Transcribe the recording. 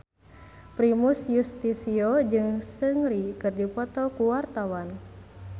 Primus Yustisio jeung Seungri keur dipoto ku wartawan